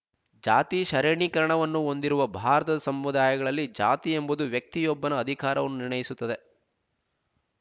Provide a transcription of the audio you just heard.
ಜಾತಿ ಶರೇಣೀಕರಣವನ್ನು ಹೊಂದಿರುವ ಭಾರತದ ಸಮುದಾಯಗಳಲ್ಲಿ ಜಾತಿ ಎಂಬುದು ವ್ಯಕ್ತಿಯೊಬ್ಬನ ಅಧಿಕಾರವನ್ನು ನಿರ್ಣಯಿಸುತ್ತದೆ